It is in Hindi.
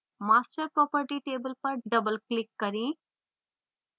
master property table पर double click करें